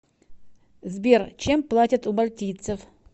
сбер чем платят у мальтийцев